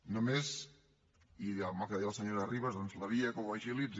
només i amb el que deia la senyora ribas doncs la via que ho agilitzi